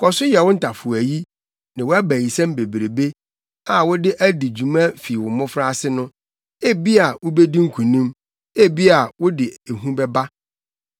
“Kɔ so yɛ wo ntafowayi ne wʼabayisɛm bebrebe a wode adi dwuma fi wo mmofraase no. Ebia wubedi nkonim, ebia wode ehu bɛba.